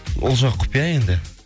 ол жақ құпия енді